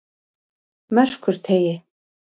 Merkurteigi